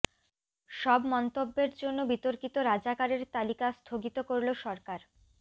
সব মন্তব্যের জন্য বিতর্কিত রাজাকারের তালিকা স্থগিত করল সরকার